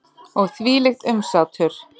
Og þvílíkt umsátur.